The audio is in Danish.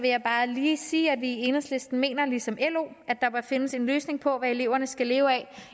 jeg bare lige sige at vi i enhedslisten mener ligesom lo at der bør findes en løsning på hvad eleverne skal leve af